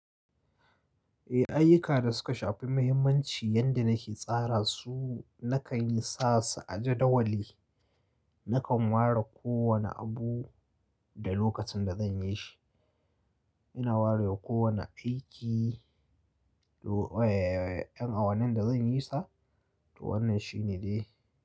Eh, ayyuka da suka shafi muhimmanci yanda nake tsara su, nakan yi sa su a jadawali. Nakan ware kowane abu da lokacin da zan yi shi. Ina ware wa kowane aiki, do, eh, eh, eh, yan awannin da zan yi sa, to wannan shi ne dai.